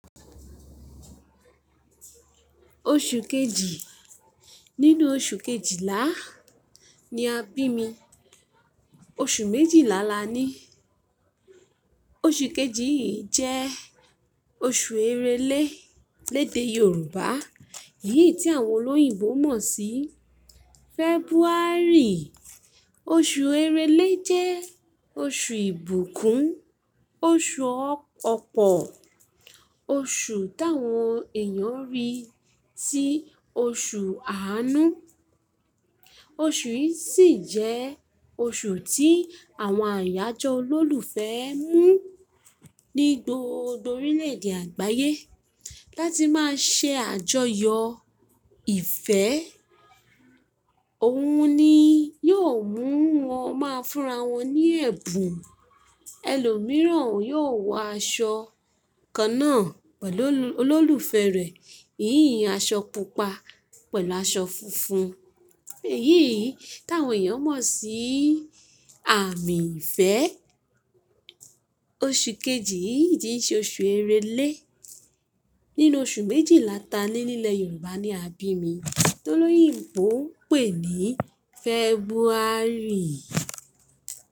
Oṣù kejì. Nínú oṣù kejìlá ni a bí mi. Oṣù méjìlá la ni. Oṣù kejì yìí jẹ́ oṣù Èrèlé lédè Yorùbá, èyí tí àwọn olóyìnbo mọ̀ sí February. Oṣù Èrèlé jẹ́ oṣù ìbùkún, oṣù ọ̀pọ̀, oṣù táwọn èèyàn rí tí oṣù àánú. Oṣù yìí sì jẹ́ oṣù tí àwọn àyájọ́ olólùfẹ́ mú ní gbogbo orílẹ̀èdè àgbáyé láti máa ṣe àjọyọ̀ ìfẹ́. Òun ni yóò mú wọn máa fúnra wọn ní ẹ̀bùn. Ẹlòmíràn yóò wọ aṣọ kan náà pẹ̀lú olólùfẹ́ rẹ̀, ìyìn aṣọ pupa pẹ̀lú aṣọ funfun, èyí tí àwọn èèyàn mọ̀ sí àmì ìfẹ́. Oṣù kejì yìí sì jẹ́ oṣù Èrèlé nínú oṣù méjìláta ni ilẹ̀ Yorùbá ni a bí mi, tó lóyìǹgbó ń pè ní February.